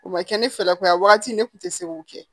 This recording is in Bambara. O ma kɛ ne fɛlako ye wagati ne kun tɛ se k'o kɛ